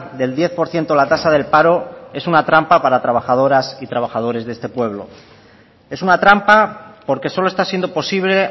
del diez por ciento la tasa del paro es una trampa para trabajadoras y trabajadores de este pueblo es una trampa porque solo está siendo posible